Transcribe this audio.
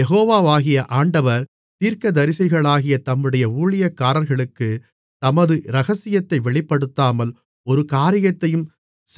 யெகோவாகிய ஆண்டவர் தீர்க்கதரிசிகளாகிய தம்முடைய ஊழியக்காரர்களுக்குத் தமது இரகசியத்தை வெளிப்படுத்தாமல் ஒரு காரியத்தையும்